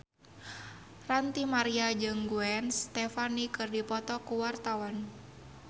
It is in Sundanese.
Ranty Maria jeung Gwen Stefani keur dipoto ku wartawan